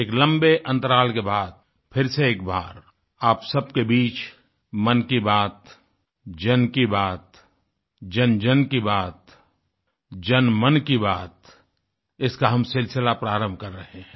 एक लम्बे अंतराल के बाद फिर से एक बार आप सबके बीच मन की बात जन की बात जनजन की बात जनमन की बात इसका हम सिलसिला प्रारम्भ कर रहे हैं